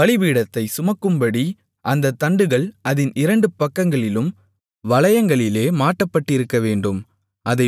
பலிபீடத்தைச் சுமக்கும்படி அந்தத் தண்டுகள் அதின் இரண்டு பக்கங்களிலும் வளையங்களிலே மாட்டப்பட்டிருக்கவேண்டும்